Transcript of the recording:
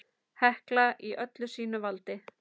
Hekla í öllu sínu valdi!